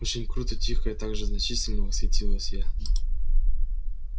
очень круто тихо и так же значительно восхитилась я